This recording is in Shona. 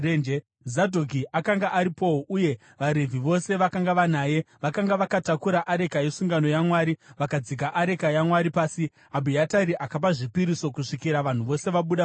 Zadhoki akanga aripowo, uye vaRevhi vose vakanga vanaye vakanga vakatakura areka yesungano yaMwari. Vakagadzika areka yaMwari pasi, Abhiatari akapa zvipiriso kusvikira vanhu vose vabuda muguta.